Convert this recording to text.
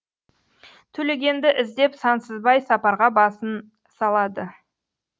төлегенді іздеп сансызбай сапарға басын салады